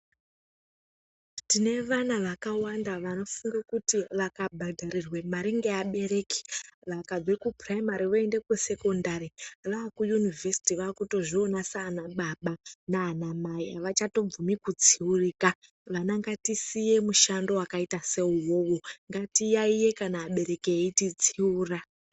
Tine vana vakawanda vanofunge kuti vakabhadharirwe mari ngeabereki, vakabve kupuraimari voende kusekondari vaakuyunivhesiti vaakutozviona saanababa naanamai, havachatobvumi kutsiurika. Vana ngatisiye mushando wakaita seuwowo ngatiyaiye kana abereki eititsiura.